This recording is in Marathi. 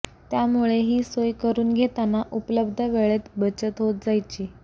त्यामुळे ही सोय करुन घेताना उपलब्ध वेळेत बचत होत जायची